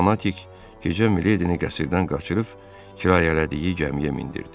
Gənc fanatik gecə Mileydini qəsrdən qaçırıb kirayələdiyi gəmiyə mindirdi.